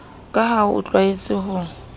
ka ha o tlwaetse ho